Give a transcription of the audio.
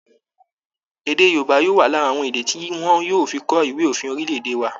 Èdè Yorùbaá yóò wà lára àwọn èdè tí wọn yóò fi kọ ìwé òfin orílẹ̀-èdè wa